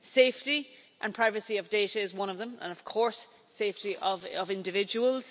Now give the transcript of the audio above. Safety and privacy of data is one of them and, of course, safety of individuals.